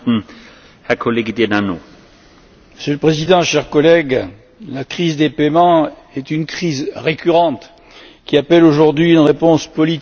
Monsieur le Président, chers collègues, la crise des paiements est une crise récurrente qui appelle aujourd'hui une réponse politique avant d'aborder les questions techniques.